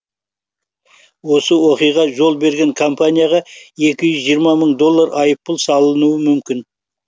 осы оқиғаға жол берген компанияға екі жүз жиырма мың доллар айыппұл салынуы мүмкін